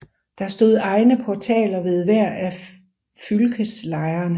Der stod egne portaler ved hver af fylkeslejrene